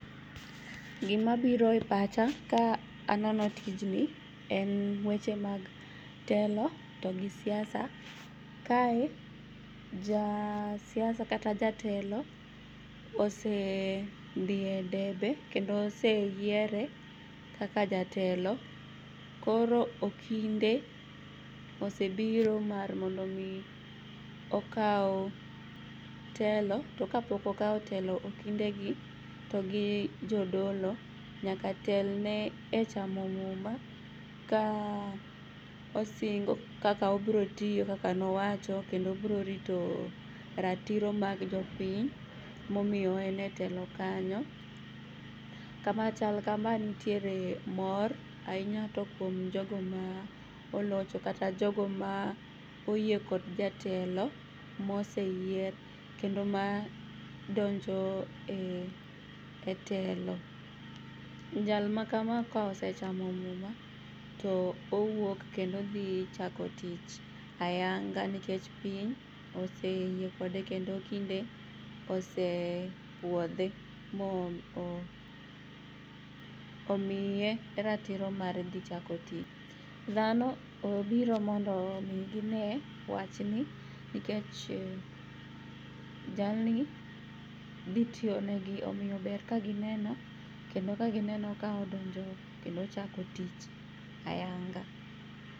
Gimabiro e pacha ka aneno tijni en weche mag telo to gisiasa. Kae jasiasa kata jatelo osedhie debe kendo oseyiere kaka jatelo koro okinde osebiro mar mondo omii okau telo to kapoko okao telo okindegi to gijodolo nyaka telne e chamo muma kaosingo kaka obrotiyo kaka nowacho kendo obrorito ratiro mag jopiny momiyo owene telo kanyo. Kama chal kama nitiere mor ainya to kuom jogo maolocho kata jogo maoyie kod jatelo moseyier kendo madonjo e telo. Jal makama kaosechamo muma to owuok kendo odhi chako tich ayanga nekech piny oseyie kode kendo okinde osepuodhe mo omiye ratiro mar dhi chako tich. Dhano obiro mondo omii ginee wachni nikech jalni dhi tiyonegi omiyo ber kagineno kendo kakaginenono kaodonjo kendo ochako tich ayanga.